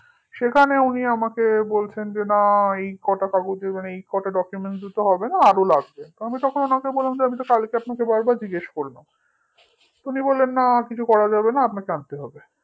সেখানে উনি আমাকে বলছেন যে না এই কটা কাগজে মানে এই কটা dccuments এ হবে না আরো লাগবে আমি তখন উনাকে বললাম যে আমি তো আপনাকে কালকে বারবার জিজ্ঞেস করলাম উনি বললেন না কিছু করা যাবে না আপনাকে আনতে হবে